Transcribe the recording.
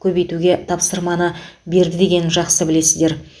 көбейтуге тапсырамы берді деген жақсы білесіздер